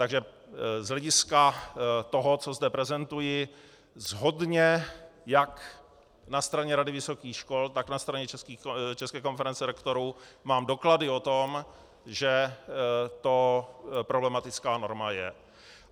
Takže z hlediska toho, co zde prezentuji, shodně jak na straně Rady vysokých škol, tak na straně České konference rektorů mám doklady o tom, že to problematická norma je.